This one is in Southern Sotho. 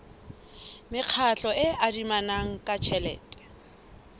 mekgatlo e adimanang ka tjhelete